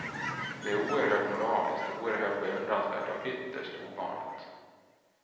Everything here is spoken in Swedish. Det är oerhört moraliskt, oerhört beundransvärt och ytterst ovanligt.